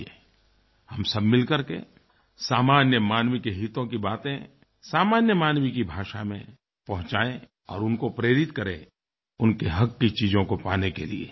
आइये हम सब मिलकर के सामान्य मानव की हितों की बातें सामान्य मानव की भाषा में पहुंचाएं और उनको प्रेरित करें उनके हक़ की चीजों को पाने के लिए